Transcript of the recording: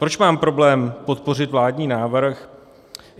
Proč mám problém podpořit vládní návrh?